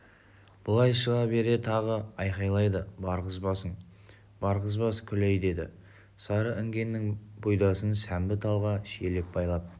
былай шыға бере тағы айқайлады барғызбасың барғызбас күләй деді сары інгеннің бұйдасын сәмбі талға шиелеп байлап